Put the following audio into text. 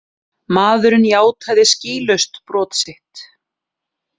Maðurinn játaði skýlaust brot sitt